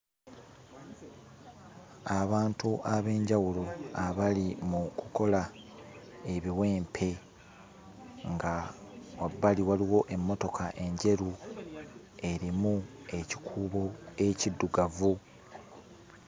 Abantu ab'enjawulo abali mu kukola ebiwempe nga wabbali waliwo emmotoka enjeru erimu ekikuubo ekiddugavu.